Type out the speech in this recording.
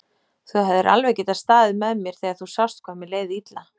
Þú hefðir alveg getað staðið með mér þegar þú sást hvað mér leið illa.